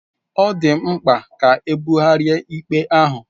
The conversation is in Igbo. Ọ dị mkpa ka ebugharịa ikpe ahụ.